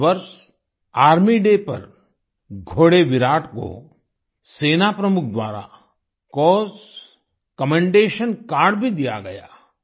इस वर्ष army day पर घोड़े विराट को सेना प्रमुख द्वारा सीओएस कमेंडेशन कार्ड भी दिया गया